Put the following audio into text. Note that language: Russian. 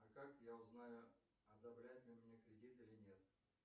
а как я узнаю одобрят мне кредит или нет